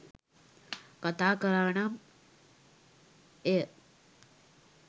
කතා කළා නම් එය